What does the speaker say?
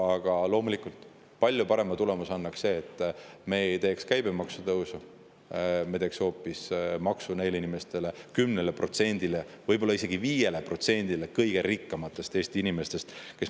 Aga loomulikult, palju parema tulemuse annaks see, kui me ei teeks käibemaksu tõusu, vaid teeks hoopis maksu neile inimestele, sellele 10%‑le, võib-olla isegi 5%‑le kõige rikkamatele Eesti inimestele.